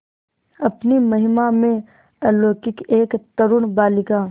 अपनी महिमा में अलौकिक एक तरूण बालिका